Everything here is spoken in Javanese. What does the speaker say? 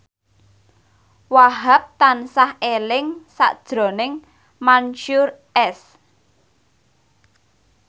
Wahhab tansah eling sakjroning Mansyur S